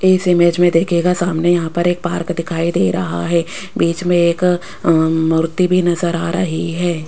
इस इमेज में देखिएगा सामने यहां पर एक पार्क दिखाई दे रहा है बीच में एक अ मूर्ति भी नजर आ रही है।